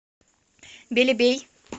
белебей